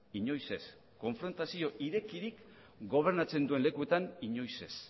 inoiz ez konfrontazio irekirik gobernatzen duen lekuetan inoiz ez